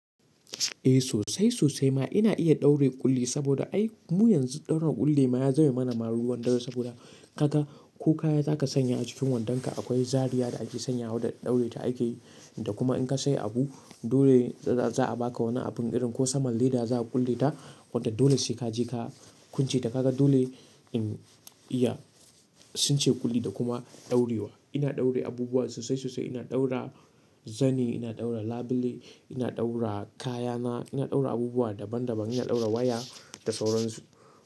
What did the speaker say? Eh sosai sosai ma ina iya ɗaure ƙulli saboda ai mu yanzu ɗaura ƙulli ma ya zama mana ma ruwan dare saboda ka ga ko kaya za ka sanya a jikin wandonka akwai zariya da ake sanya wa da ɗaure ta ake. Kuma in ka sayi abu dole za a baka wani abin irin ko saman leda za a ƙulle ta. Wanda dole sai ka je ka kunce ta ka ga dole in iya sunce ƙulli da kuma ɗaurewa. Ina ɗaure abubuwa sosai sosai ina ɗaura zani, ina ɗaura labule, ina ɗaura kayana, ina ɗaura abubuwa daban daban, ina ɗaura waya da sauran su.